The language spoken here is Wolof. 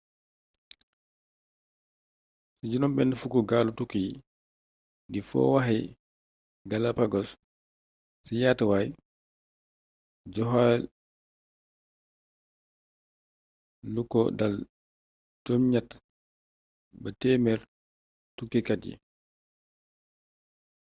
ci 60 gaalu tukki di fo wi waaxi galapagos ci yaatuwaay jokkale lu ko dale 8 ba 100 tukkikaat yi